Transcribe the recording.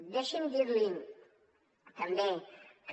deixi’m dir li també que